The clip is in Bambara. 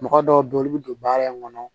Mɔgɔ dɔw bɛ olu bɛ don baara in kɔnɔ